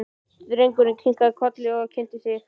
Drengurinn kinkaði kolli og kynnti sig.